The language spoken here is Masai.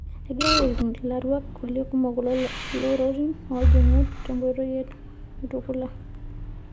Egirai aipim larwak kulie kumok loolorin oojingu tenkoitoi te Mutukula.